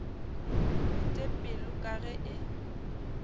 bete pelo ka ge e